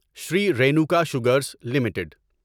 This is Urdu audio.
Shri Renuka sugars limited